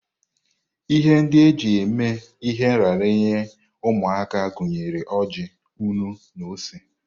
Ihe ndị a na-eji eme ihe nraranye ụmụaka gụnyere oji, nnu na ose.